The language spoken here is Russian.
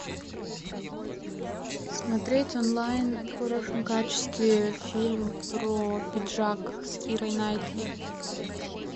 смотреть онлайн в хорошем качестве фильм про пиджак с кирой найтли